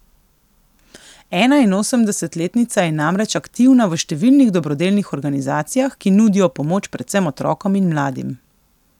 Enainosemdesetletnica je namreč aktivna v številnih dobrodelnih organizacijah, ki nudijo pomoč predvsem otrokom in mladim.